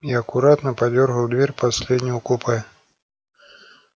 и аккуратно подёргал дверь последнего купе